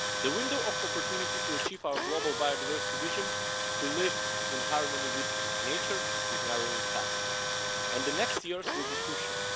The window of opportunity to achieve our global biodiversity vision to live in harmony with nature is narrowing fast, and the next years will be crucial.